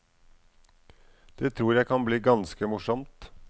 Det tror jeg kan bli ganske morsomt.